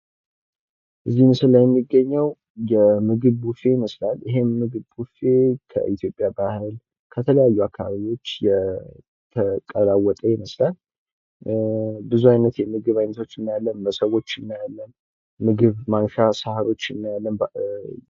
ከዚህ ምስል ላይ የሚገኘው የምግብ ቡፌ ይመስላል። ይህ ምግብ ቡፌ ከኢትዮጵያ ባህል ከተለያዩ አካባቢዎች የተቀለወጠ ይመስላል። ብዙ አይነት የምግብ አይንቶች እናያለን መሶቦች እናያለን። ምግብ ማንሻ ሳሮች እናያለን።